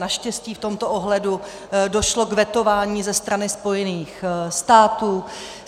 Naštěstí v tomto ohledu došlo k vetování ze strany Spojených států.